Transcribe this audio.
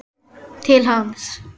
Til hans.